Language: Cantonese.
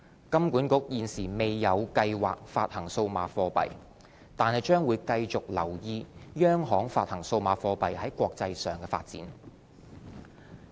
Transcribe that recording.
金管局現時未有計劃發行數碼貨幣，但將繼續留意央行發行數碼貨幣在國際上的發展。